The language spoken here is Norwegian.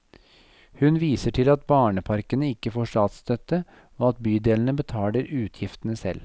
Hun viser til at barneparkene ikke får statsstøtte, og at bydelene betaler utgiftene selv.